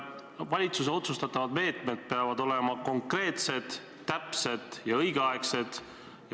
Valitsuse otsustatavad meetmed peavad olema konkreetsed, täpsed ja õigeaegsed.